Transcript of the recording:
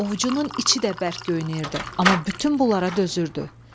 Ovucunun içi də bərk göynəyirdi, amma bütün bunlara dözürdü.